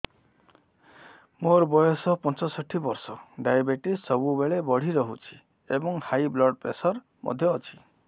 ମୋର ବୟସ ପଞ୍ଚଷଠି ବର୍ଷ ଡାଏବେଟିସ ସବୁବେଳେ ବଢି ରହୁଛି ଏବଂ ହାଇ ବ୍ଲଡ଼ ପ୍ରେସର ମଧ୍ୟ ଅଛି